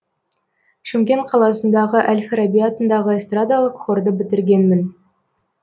шымкент қаласындағы әл фараби атындағы эстрадалық хорды бітіргенмін